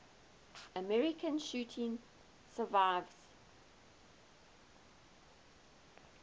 american shooting survivors